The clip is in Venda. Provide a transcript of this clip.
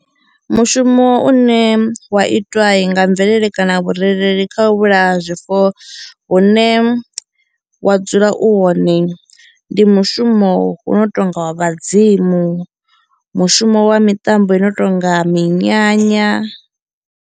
Mushumo une wa itwai nga mvelele kana vhurereli kha u vhulaya zwifuwo hune wa dzula u hone ndi mushumo u no tonga wa vhadzimu, mushumo wa miṱambo i no tonga minyanya.